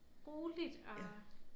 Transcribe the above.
Roligt og